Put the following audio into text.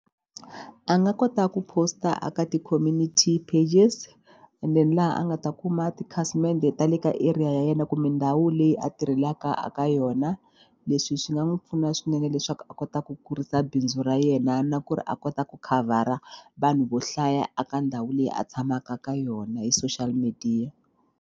A nga kota ku post-a ka ti-community pages and then laha a nga ta kuma tikhasimende ta le ka area ya yena kumbe ndhawu leyi a tirhelaka a ka yona. Leswi swi nga n'wi pfuna swinene leswaku a kota ku kurisa bindzu ra yena na ku ri a kota ku khavhara vanhu vo hlaya a ka ndhawu leyi a tshamaka ka yona hi social media.